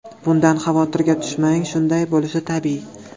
Bundan xavotirga tushmang – shunday bo‘lishi tabiiy.